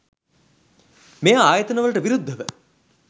මෙ ආයතන වලට විරුද්ධව